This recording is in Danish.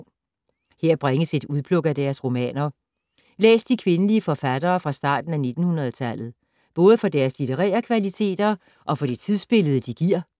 Her bringes et udpluk af deres romaner. Læs de kvindelige forfattere fra starten af 1900-tallet. Både for deres litterære kvaliteter og for det tidsbillede, de giver.